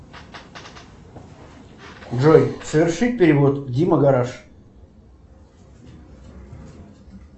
джой совершить перевод дима гараж